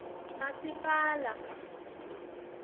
masipala